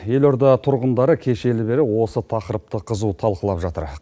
елорда тұрғындары кешелі бері осы тақырыпты қызу талқылап жатыр